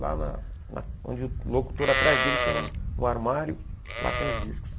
Lá na na onde o locutor atrás dele tem um um armário, lá tem os discos.